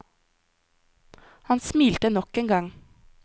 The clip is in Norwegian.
Han smilte nok en gang.